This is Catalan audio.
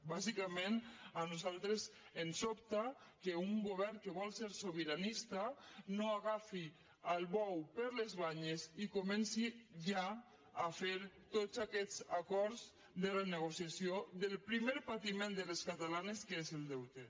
bàsicament a nosaltres ens sobta que un govern que vol ser sobiranista no agafi el bou per les banyes i comenci ja a fer tots aquests acords de renegociació del primer patiment de les catalanes que és el deute